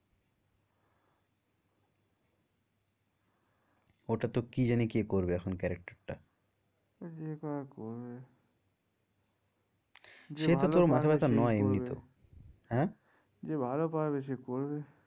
ওটা তো কি জানি কে করবে এখন character টা যে করবে যে ভালো, মাথা ব্যাথা নয় এমনিতেও আহ যে ভালো পারবে সে করবে।